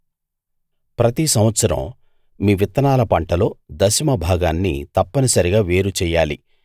ప్రతి సంవత్సరం మీ విత్తనాల పంటలో దశమ భాగాన్ని తప్పనిసరిగా వేరు చెయ్యాలి